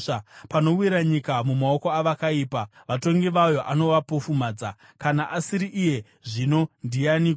Panowira nyika mumaoko avakaipa, vatongi vayo anovapofumadza. Kana asiri iye, zvino ndianiko?